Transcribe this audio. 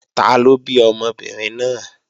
Taló bí ọmọbìnrin náà?